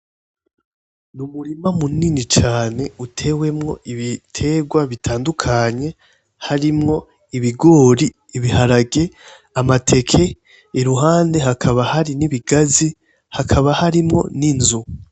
Ni umurima munini cane utewemwo ibiterwa bitandukanye harimwo ibigori, ibiharage, amateke. Iruhande hakaba hari n'ibigazi, hakaba harimwo n'inzu.